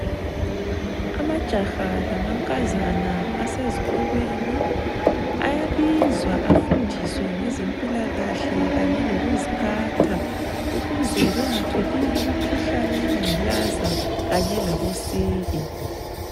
Amajaha lamankazana asezikolweni ayabizwa afundiswe ngezempilakahle kanye lokuziphatha ukuze bengatholi imikhuhlane yengculaza kanye labosiki.